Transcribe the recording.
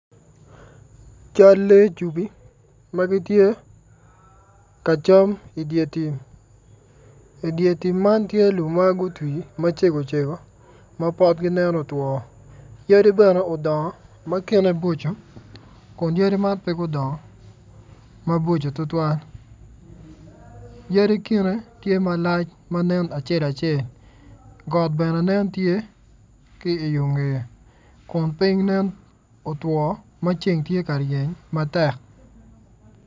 Cal lee cugi magitye ka cam idyer tim, idyer tim man tye lum magutwi macego cego mapotgi nen otwo yadi bene odongo matyene boco kun yadi man pegudongo maboco tutuwal yadi kine tye malac manen acel acel got bene nen tye ki i yo ngeye kun ping nen otwo maceng tye ka ryeny matek.